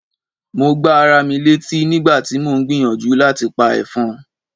Mo gbá ara mi létí nígbà tí mò ń gbìyànjú láti pa ẹ̀fọn.